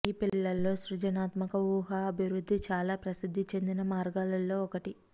ఈ పిల్లల్లో సృజనాత్మక ఊహ అభివృద్ధి చాలా ప్రసిద్ది చెందిన మార్గాలలో ఒకటి